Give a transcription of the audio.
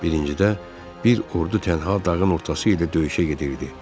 Birincidə bir ordu tənha dağın ortası ilə döyüşə gedirdi.